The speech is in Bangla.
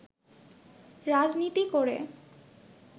রাজনীতি করে